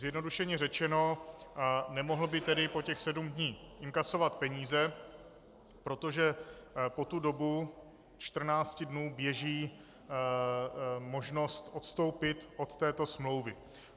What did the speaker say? Zjednodušeně řečeno, nemohl by tedy po těch sedm dní inkasovat peníze, protože po tu dobu 14 dnů běží možnost odstoupit od této smlouvy.